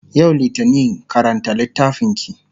yau littani karanta littafinki!